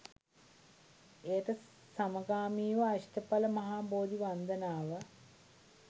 එයට සමගාමීව අෂ්ඨඵල මහා බෝධි වන්දනාව